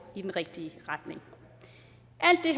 i den rigtige retning